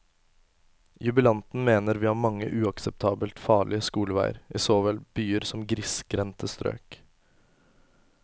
Jubilanten mener vi har mange uakseptabelt farlige skoleveier i så vel byer som grisgrendte strøk.